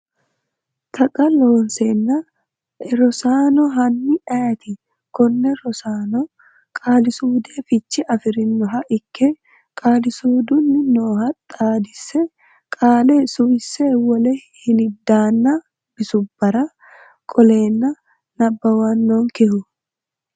Taqa Looseemmo a Rosaano, hanni ayeeti konne Rosaano, qaalisuudu fiche afi’rinoha ikke qaalisuudunni nooha xaadise qaale suwise wole hiliddaanna bisubbara qolleenna nabbawannonkehu?